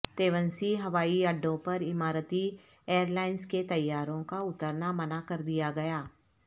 تیونسی ہوائی اڈوں پر اماراتی ایئرلائنز کے طیاروں کا اترنا منع کر دیا گیا